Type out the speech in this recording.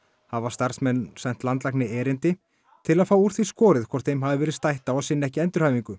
hafa starfsmenn sent landlækni erindi til að fá úr því skorið hvort þeim hafi verið stætt á að sinna ekki endurhæfingu